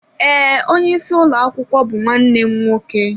Ee, onyeisi ụlọ akwụkwọ bụ nwanne m nwoke.